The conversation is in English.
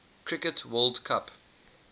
cricket world cup